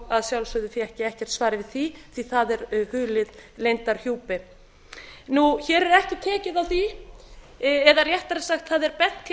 að sjálfsögðu fékk ég ekkert svar við því því að það er hulið leyndarhjúpi hér er ekki tekið á því eða réttara sagt það er bent hér á